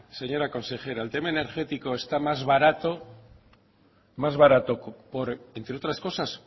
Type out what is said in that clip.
señora consejera el tema energético está más barato más barato por entre otras cosas